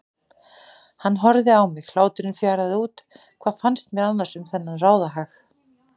Hann horfði á mig, hláturinn fjaraði út, hvað fannst mér annars um þennan ráðahag?